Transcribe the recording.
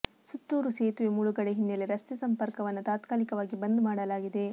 ಸುತ್ತೂರು ಸೇತುವೆ ಮುಳುಗಡೆ ಹಿನ್ನೆಲೆ ರಸ್ತೆ ಸಂಪರ್ಕವನ್ನ ತಾತ್ಕಾಲಿಕವಾಗಿ ಬಂದ್ ಮಾಡಲಾಗಿದೆ